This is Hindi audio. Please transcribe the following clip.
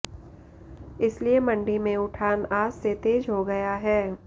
इसलिये मंडी में उठान आज से तेज हो गया है